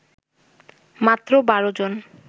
মাত্র ১২ জন